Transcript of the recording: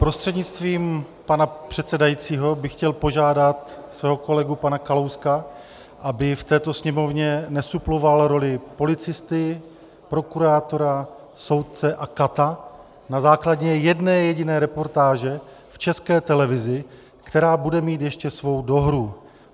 Prostřednictvím pana předsedajícího bych chtěl požádat svého kolegu pana Kalouska, aby v této Sněmovně nesuploval roli policisty, prokurátora, soudce a kata na základě jedné jediné reportáže v České televizi, která bude mít ještě svou dohru.